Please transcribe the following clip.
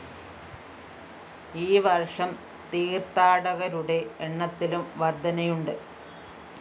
ഈ വര്‍ഷം തീര്‍ത്ഥാടകരുടെ എണ്ണത്തിലും വര്‍ധനയുണ്ട്